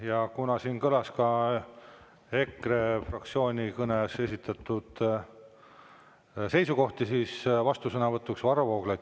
Ja kuna siin kõlas ka EKRE fraktsiooni kõnes esitatud seisukohti, siis vastusõnavõtuks Varro Vooglaiule.